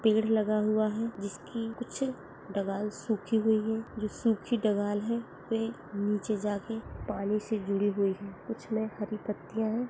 एक पेड़ लगा हुआ है जिसकी कुछ डगाल सूखी हुई है जो सूखी डगाल है वे नीचे जाकर पानी से जुडी हुयी है कुछ मे हरी पत्तियां है।